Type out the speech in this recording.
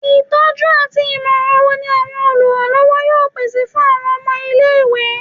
Itọju ati imọran wo ni awọn oluranlọwọ yoo pese fun awọn ọmọ ile-iwe?